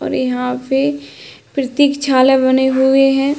और यहाँ पे प्रतीक्षालय बने हुए हैं।